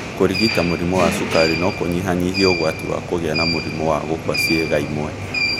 Kũrigita mũrimũ wa cukari no kũnyihayihie ũgwatĩ wa kũgia na mũrimũ wa gũkua ciĩga imwe